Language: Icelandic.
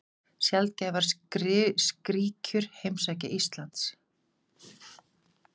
Sjaldgæfar skríkjur heimsækja Ísland